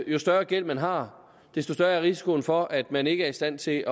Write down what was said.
jo større gæld man har desto større er risikoen for at man ikke er i stand til